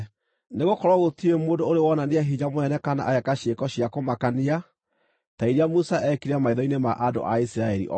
Nĩgũkorwo gũtirĩ mũndũ ũrĩ wonania hinya mũnene kana ageeka ciĩko cia kũmakania ta iria Musa eekire maitho-inĩ ma andũ a Isiraeli othe.